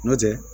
N'o tɛ